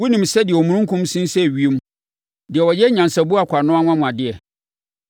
Wonim sɛdeɛ omununkum sensɛn ewiem, deɛ ɔyɛ nyansaboakwa no anwanwadeɛ?